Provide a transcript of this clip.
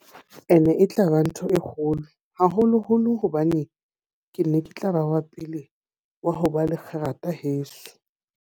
E ne e tla ba ntho e kgolo, haholoholo hobane ke ne ke tla ba wa pele wa ho ba le kgerata heso.